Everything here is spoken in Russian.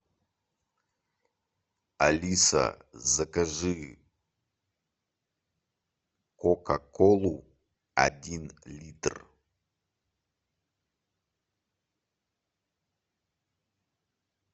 алиса закажи кока колу один литр